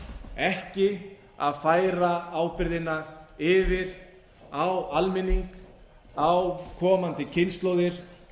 ekki að færa ábyrgðina yfir á almenning á komandi kynslóðir